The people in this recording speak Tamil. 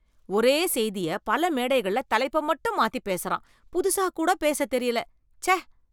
ஒரே செய்திய பல மேடைகள்ல தலைப்ப மட்டும் மாத்தி பேசுறான், புதுசா கூட பேச தெரியல, ச்ச.